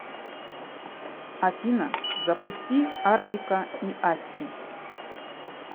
афина запусти артика и асти